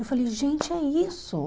Eu falei, gente, é isso?